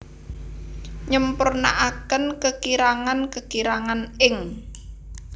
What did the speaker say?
nyempurnaaken kekirangan kekirangan ing